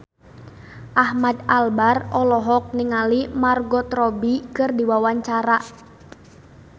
Ahmad Albar olohok ningali Margot Robbie keur diwawancara